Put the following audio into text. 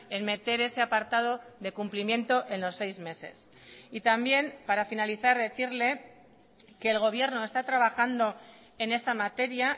en meter ese apartado de cumplimiento en los seis meses y también para finalizar decirle que el gobierno está trabajando en esta materia